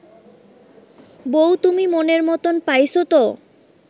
বৌ তুমি মনের মতন পাইছ ত